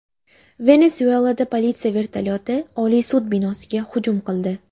Venesuelada politsiya vertolyoti Oliy sud binosiga hujum qildi.